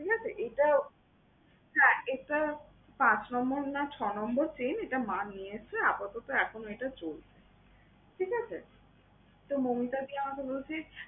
ঠিক আছে? এটা হ্যাঁ এটা পাঁচ number না ছয় number chain, এটা মা নিয়ে এসেছে আপাতত এখনো এটা চলছে, ঠিক আছে? তো মৌমিতাদি আমাকে বলছে